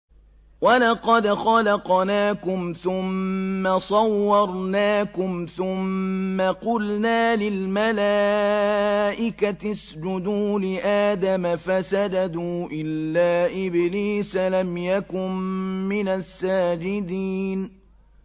وَلَقَدْ خَلَقْنَاكُمْ ثُمَّ صَوَّرْنَاكُمْ ثُمَّ قُلْنَا لِلْمَلَائِكَةِ اسْجُدُوا لِآدَمَ فَسَجَدُوا إِلَّا إِبْلِيسَ لَمْ يَكُن مِّنَ السَّاجِدِينَ